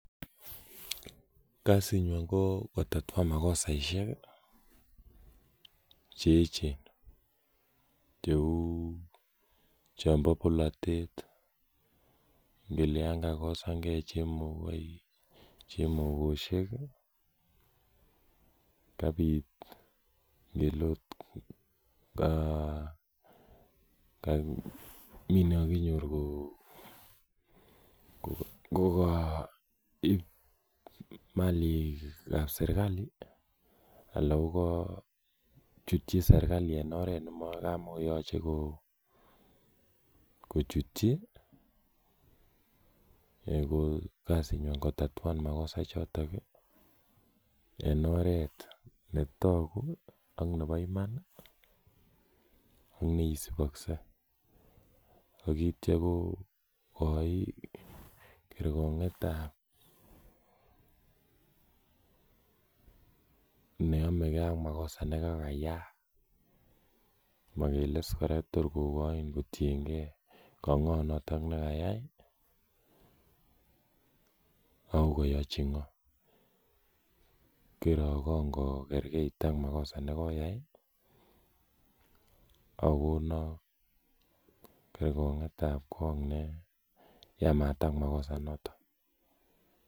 kasinywan ko kotatuan makosaisiek cheechen, cheu chombo bolotet ngele yan kakosang'e chemogoik, chemogosiek, kabit ngele ot mi nikaginyor kokaib malik ab sergali anan kochutji sergali en oret nekamokoyoche kochutji, ko kasinywan ko kotatuan magosa ichotok en oret netogu ak nebo iman i koneisibokse ak kityakogoi kergong'etab ab neomegen ak magosa negogayaak, magele iskora tor kogoin kotiengen ka ng'o noton negogayai ako koyochi ng'o kerokgong' kotiengen ak magosa nekokayaak ak kogonok kergong'et kotiengen ak magosa inoton.